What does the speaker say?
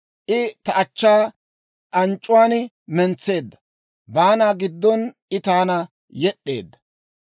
I ta achchaa anc'c'uwaan mentseedda; baana giddon I taana yed'd'eedda.